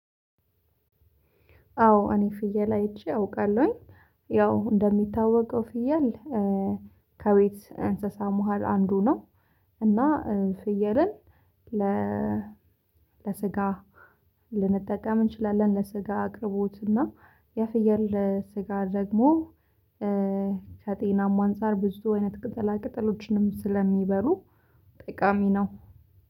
አዎ እኔ ፍየል አይቼ አውቃለሁኝ። ያው እንደሚታወቀው ፍየል ከቤት እንስሳ መሃል አንዱ ነው፤ እና ፍየልን ለ ለስጋ ልንጠቀም እንችላለን ለስጋ አቅርቦት እና የፍየል ስጋ ደግሞ ከጤናም አንፃር ብዙ አይነት ቅጠላ ቅጠሎችንም ስለሚበሉ ጠቃሚ ነው።